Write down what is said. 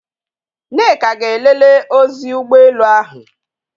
Nneka ga elelee ozi ụgbọelụ ahụ.